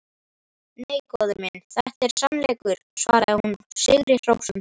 Nei, góði minn, þetta er sannleikur, svaraði hún sigri hrósandi.